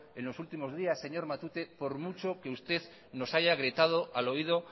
señor matute por mucho que usted nos haya gritado al oído